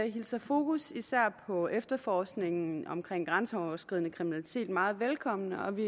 især fokus på efterforskningen omkring grænseoverskridende kriminalitet meget velkommen og vi